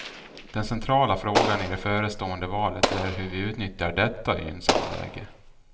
Den centrala frågan i det förestående valet är hur vi utnyttjar detta gynnsamma läge.